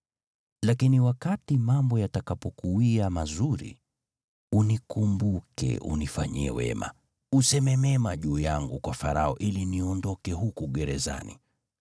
Lakini wakati mambo yatakapokuwia mazuri, unikumbuke, unifanyie wema, useme mema juu yangu kwa Farao ili niondoke huku gerezani.